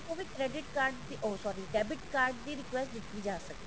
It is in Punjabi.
ਤੋਂ ਵੀ ਤੁਸੀਂ ਓਹ sorry debit card ਦੀ request ਦਿੱਤੀ ਜਾ ਸਕਦੀ ਹੈ